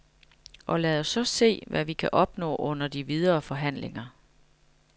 Og lad os så se, hvad vi kan opnå under de videre forhandlinger.